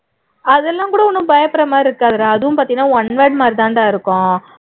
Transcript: அதெல்லாம் கூட ரொம்ப பயப்படுற மாதிரி இருக்காதுடா அதும் பாத்தீண்ணா one word மாதிரிதாண்டா இருக்கும்